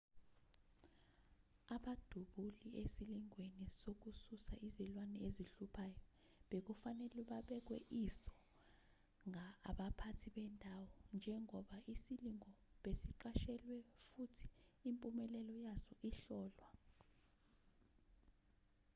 abadubuli esilingweni sokususa izilwane ezihluphayo bekufanele babekwe iso abaphathi bendawo njengoba isilingo besiqashelwe futhi impumelelo yaso ihlolwa